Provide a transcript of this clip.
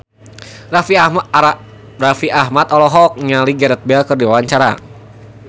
Raffi Ahmad olohok ningali Gareth Bale keur diwawancara